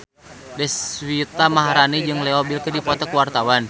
Deswita Maharani jeung Leo Bill keur dipoto ku wartawan